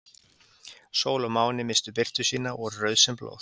Sól og máni misstu birtu sína og voru rauð sem blóð.